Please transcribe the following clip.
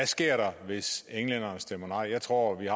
sker der hvis englænderne stemmer nej jeg tror at vi